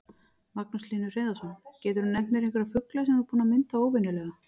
Magnús Hlynur Hreiðarsson: Geturðu nefnt einhverja fugla sem þú ert búinn að mynda óvenjulega?